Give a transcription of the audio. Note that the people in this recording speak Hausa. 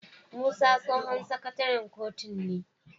Musa tsohon sakataren kotun ne